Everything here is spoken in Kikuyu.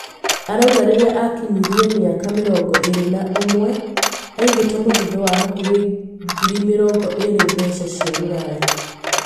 arauga rĩrĩa akinyirie mĩaka mĩrongo ĩrĩ na ũmwe, aigĩte mũthithũ wa hakuhĩ ngiri mĩrongo ĩrĩ mbeca cia rũraya